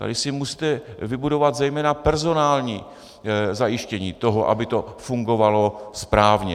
Tady si musíte vybudovat zejména personální zajištění toho, aby to fungovalo správně.